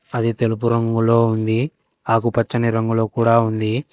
అది తెలుపు రంగులో ఉంది ఆకుపచ్చని రంగులో కూడా ఉంది.